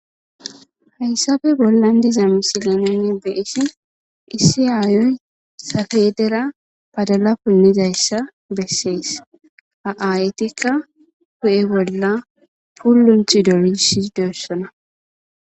Hayssafe bollan diza misileneni nuuni be7ishin issi aayoy safeedera badala punnizayssa bessees. Ha aayetikka hu7e bolla pulunthi dolishidosona.